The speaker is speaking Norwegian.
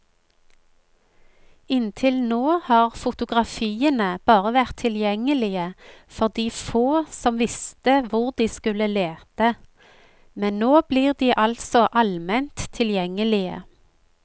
Inntil nå har fotografiene bare vært tilgjengelige for de få som visste hvor de skulle lete, men nå blir de altså alment tilgjengelige.